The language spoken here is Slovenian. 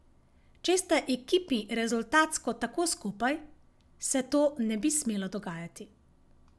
Če sta ekipi rezultatsko tako skupaj, se to ne bi smelo dogajati.